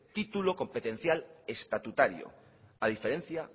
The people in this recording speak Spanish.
título competencial estatutario a diferencia